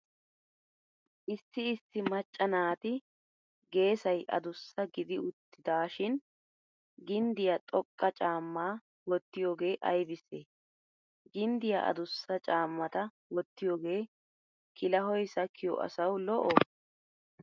Issi issi macca naati geesay adussa gidi uttidaashin ginddiyaa xoqqa caammaa wottiyogee aybissee? Ginddiyaa adussa caammata wottiyogee kilahoy sakkiyo asawu lo"oo?